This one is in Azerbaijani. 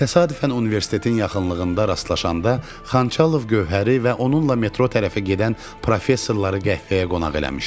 Təsadüfən universitetin yaxınlığında rastlaşanda Xanxalov Gövhəri və onunla metro tərəfə gedən professorları qəhvəyə qonaq eləmişdi.